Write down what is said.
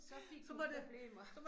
Så fik du problemer